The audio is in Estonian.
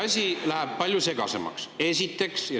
Asi läheb palju segasemaks.